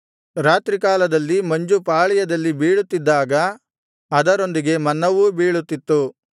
ರಾತ್ರಿ ಕಾಲದಲ್ಲಿ ಮಂಜು ಪಾಳೆಯದಲ್ಲಿ ಬೀಳುತ್ತಿದ್ದಾಗ ಅದರೊಂದಿಗೆ ಮನ್ನವೂ ಬೀಳುತ್ತಿತ್ತು